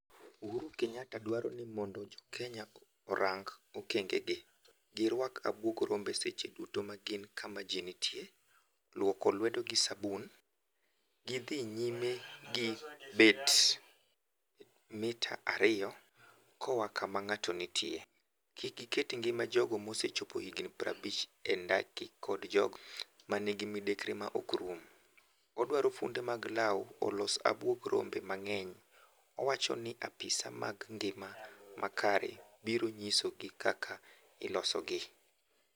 Uhuru Kenyatta dwaro ni mondo jokenya orang okengegi: girwak abwog rombe seche duto ma gin kama ji ntie, lwoko lwedo gi sabun, gi dhi nyime gi bet mita ariyo koa kama ng'ato nitie, kik gi ket ngima jogo mosechopo higni 50 e andaki kod jogo manigi midekre ma ok rum. odwaro funde mag law olos abwog rombe mang'eny, owacho ni apisaa mag ngima makare biro nyisogi kaka ilosogi.